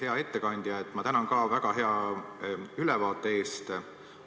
Hea ettekandja, ma tänan ka väga hea ülevaate eest!